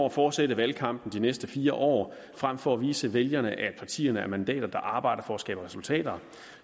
at fortsætte valgkampen i de næste fire år frem for at vise vælgerne at partierne er mandater der arbejder for at skabe resultater